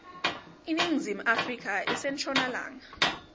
iningizimu afrika ise nshonalanga